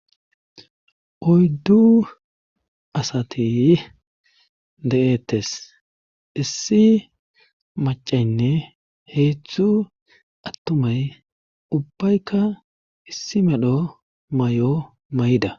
Oyddu asati de7ettes issi macaynne heetzthu attumay ubbaykka issi medho may'o may'da.